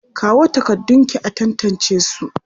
Kawo takardunki a tantancesu!